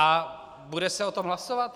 A bude se o tom hlasovat?